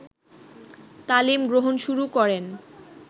তালিম গ্রহণ শুরু করেন